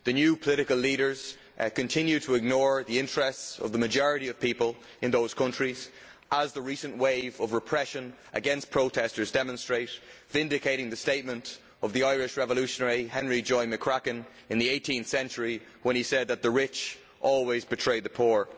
The new political leaders continue to ignore the interests of the majority of people in those countries, as the recent wave of repression against protestors demonstrates, vindicating the statement by Irish revolutionary Henry Joy McCracken in the 18th century, that the rich always betray the poor.